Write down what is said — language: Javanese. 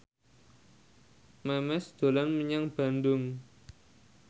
Memes dolan menyang Bandung